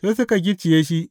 Sai suka gicciye shi.